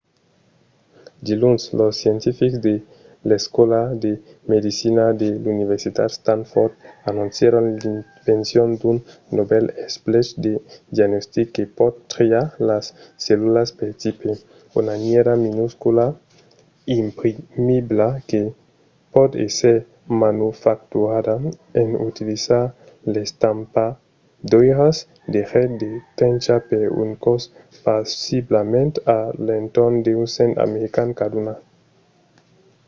diluns de scientifics de l'escòla de medecina de l'universitat stanford anoncièron l'invencion d'un novèl esplech de diagnostic que pòt triar las cellulas per tipe: una nièra minuscula imprimibla que pòt èsser manufacturada en utilizar d'estampadoiras de get de tencha per un còst possiblament a l'entorn d'un cent american caduna